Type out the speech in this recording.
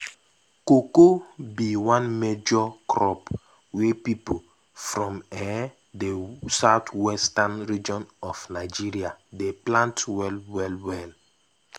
cocoa be one major crop wey pipo from um the southwestern region of nigeria dey plant wel wel. wel.